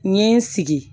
N ye n sigi